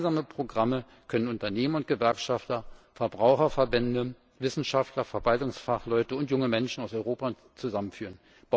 Gemeinsame Programme können Unternehmer und Gewerkschafter, Verbraucherverbände, Wissenschaftler, Verwaltungsfachleute und junge Menschen aus Europa und Japan zusammenführen.